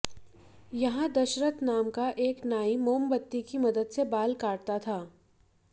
यहां दशरथ नाम का एक नाई मोमबत्ती की मदद से बाल काटता था